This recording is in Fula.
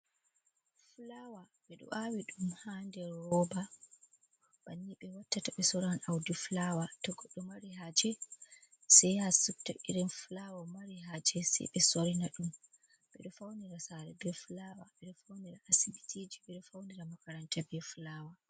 Fulaawa 6eđo aawiđum ha nder rooba, banni be watta to 6e soran audi Fulaawa, to goddo đo mari haaje sai yaa supta irin Fulaawa mari haaje sai 6e sorina đum, 6edo faunira saare be Fulaawa 6eđo faunira Asibitiiji 6eđo faunira Makaranta beh Fulaawa.